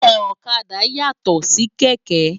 Òkàdá yátò si kèkè